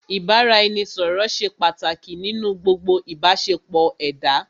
Ìbáraẹnisọ̀rọ̀ ṣé pàtàkì nínú gbogbo ìbáṣepọ̀ ẹ̀dá.